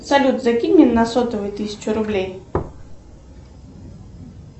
салют закинь мне на сотовый тысячу рублей